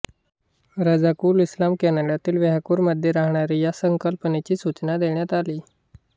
रझाकुल इस्लाम कॅनडातील व्हॅंकुव्हरमध्ये राहणारी या संकल्पनेची सुचना देण्यात आली